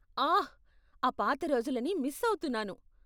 ఆహ్! ఆ పాత రోజులని మిస్ ఆవుతున్నాను.